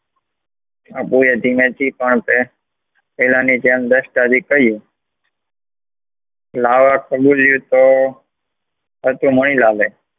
આ ભોંય ધીમે થી પણ પેહલા ની જેમ દસતાવી રહીયુ હતું, લાવા અમૂલ્ય તો હાતા, મણિલાલે